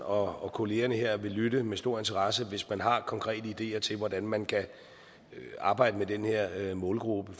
og kollegaerne her vil lytte med stor interesse hvis man har konkrete ideer til hvordan man kan arbejde med den her målgruppe